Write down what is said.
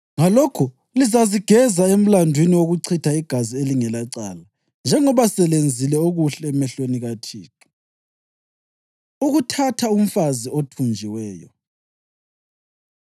Ngalokho lizazigeza emlandwini wokuchitha igazi elingelacala, njengoba selenzile okuhle emehlweni kaThixo.” Ukuthatha Umfazi Othunjiweyo